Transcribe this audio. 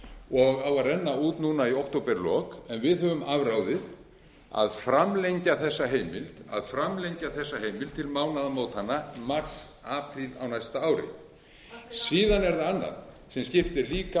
og á að renna út núna í októberlok en við höfum afráðið að framlengja þessa heimild til mánaðamótanna mars apríl á næsta ári síðan er það annað sem skiptir líka